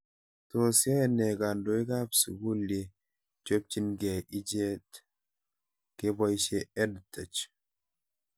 Tos yae nee kandoik ab sukul ye chopchinikei ichet kepoishe EdTech